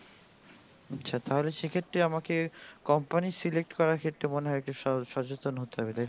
আচ্ছা তাহলে সেই ক্ষত্রে আমাকে company করা ক্ষেত্রে মনে হয় একটু সচতেন হতে হবে তাই তো